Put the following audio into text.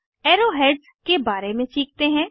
अब arrow heads के बारे में सीखते हैं